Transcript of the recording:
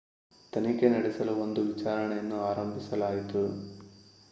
ತನಿಖೆ ನಡೆಸಲು ಒಂದು ವಿಚಾರಣೆಯನ್ನು ಆರಂಭಿಸಲಾಯಿತು